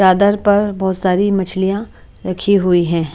चादर पर बहोत सारी मछलियाँ रखी हुई हैं।